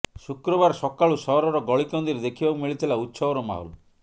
ଶୁକ୍ରବାର ସକାଳୁ ସହରର ଗଳିକନ୍ଦିରେ ଦେଖିବାକୁ ମିଳିଥିଲା ଉତ୍ସବର ମାହୋଲ୍